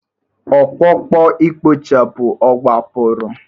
Ọkpụkpọ ikpochapụ ọ gbapụrụ?